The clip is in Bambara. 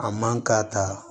A man ka taa